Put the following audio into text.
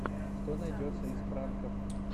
что найдется из пранков